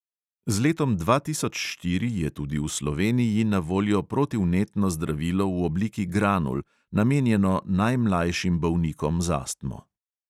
Z letom dva tisoč štiri je tudi v sloveniji na voljo protivnetno zdravilo v obliki granul, namenjeno najmlajšim bolnikom z astmo.